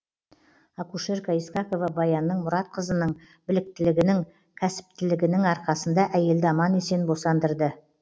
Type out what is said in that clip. акушерка искакова баянның мұратқызының біліктілігінің кәсіптінігінің арқасында әйелді аман есен босандырды